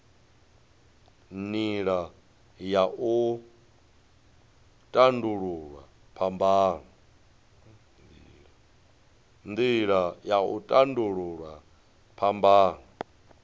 nila ya u tandululwa phambano